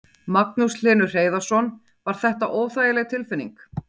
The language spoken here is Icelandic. Magnús Hlynur Hreiðarsson: Var þetta óþægileg tilfinning?